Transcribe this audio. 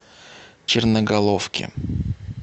черноголовке